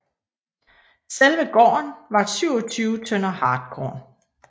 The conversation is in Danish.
Selve gården var på 27 tønder hartkorn